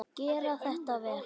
Gera þarf þetta vel.